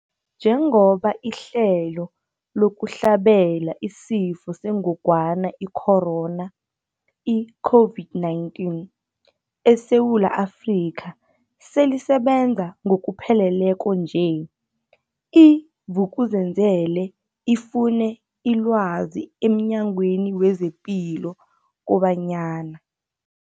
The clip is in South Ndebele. Njengoba ihlelo lokuhlabela isiFo sengogwana i-Corona, i-COVID-19, eSewula Afrika selisebenza ngokupheleleko nje, i-Vuk'uzenzele ifune ilwazi emNyangweni wezePilo kobanyana.